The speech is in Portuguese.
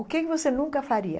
O que que você nunca faria?